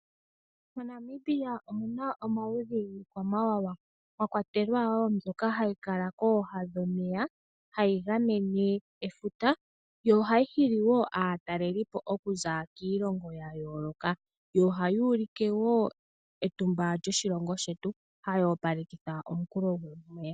MoNamibia omuna woo omaludhi giikwamawawa mwakwatelwa mbyoka hayi kala kooha dhomeya, hayi gamene efuta, yo ohayi hili aataleliipo oku za kiilongo yayooloka, yo ohayi ulike woo etumba lyoshilongo shetu, hawoo palekitha omukulo futa unene.